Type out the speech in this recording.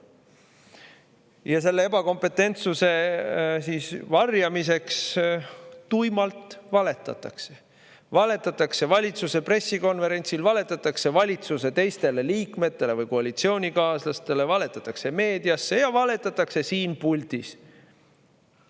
Ja selle ebakompetentsuse varjamiseks tuimalt valetatakse: valetatakse valitsuse pressikonverentsil, valetatakse valitsuse teistele liikmetele või koalitsioonikaaslastele, valetatakse meedias ja valetatakse siin puldis.